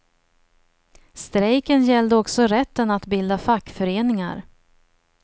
Strejken gällde också rätten att bilda fackföreningar.